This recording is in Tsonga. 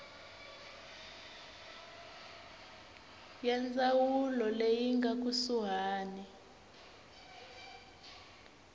ya ndzawulo leyi nga kusuhani